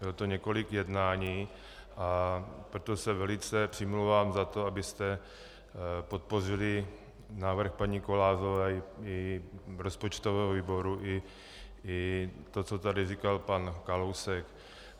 Bylo to několik jednání, a proto se velice přimlouvám za to, abyste podpořili návrh paní Kovářové i rozpočtového výboru i to, co tady říkal pan Kalousek.